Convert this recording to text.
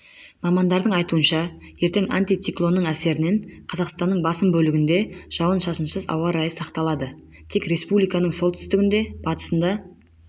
мамандардың айтуынша ертең антициклонның әсерінен қазақстанның басым бөлігінде жауын-шашынсыз ауа райы сақталады тек республиканың солтүстігінде батысында